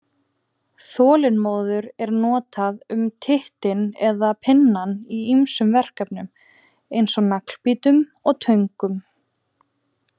Þolinmóður er notað um tittinn eða pinnann í ýmsum verkfærum eins og naglbítum og töngum.